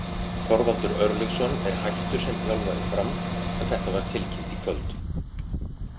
Þorvaldur Örlygsson er hættur sem þjálfari Fram en þetta var tilkynnt í kvöld.